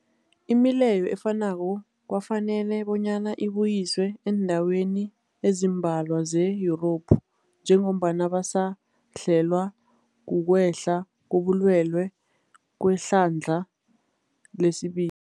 Imileyo efanako kwafanela bonyana ibuyiswe eendaweni ezimbalwa ze-Yurophu njengombana basahlelwa kukwehla kobulwele kwehlandla lesibi